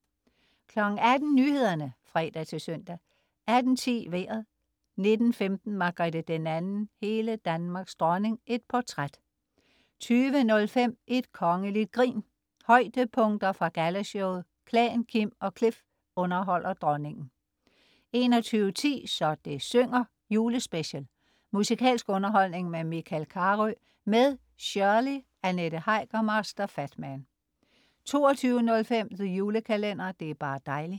18.00 Nyhederne (fre-søn) 18.10 Vejret 19.15 Margrethe II, Hele Danmarks Dronning: Portræt 20.05 Et kongeligt grin. Højdepunkter fra gallashowet. Klan, Kim og Cliff underholder dronningen 21.10 Så det synger. Julespecial. Musikalsk underholdning med Michael Carøe. Med Szhirley, Annette Heick og Master Fatman 22.05 The Julekalender. Det er bar' dejli'